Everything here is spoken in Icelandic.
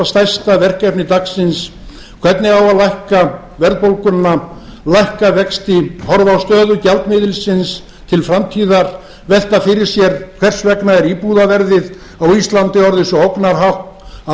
stærsta verkefni dagsins hvernig á að lækka verðbólguna lækka vexti horfa á stöðu gjaldmiðilsins til framtíðar velta fyrir sér hvers vegna er íbúðarverðið á íslandi orðið svo ógnarhátt að ungt